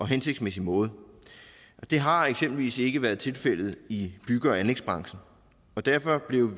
hensigtsmæssige måde og det har eksempelvis ikke været tilfældet i bygge og anlægsbranchen derfor blev